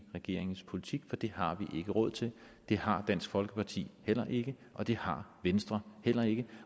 regeringens politik for det har vi ikke råd til det har dansk folkeparti heller ikke og det har venstre heller ikke